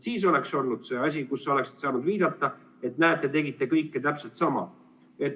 Siis oleks olnud see asi, kus sa oleksid saanud viidata, et näe, te tegite kõike täpselt sama.